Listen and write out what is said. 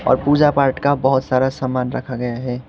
पूजा पाठ का बहुत सारा सामान रखा गया है।